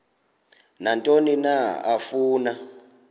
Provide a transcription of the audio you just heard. nantoni na afuna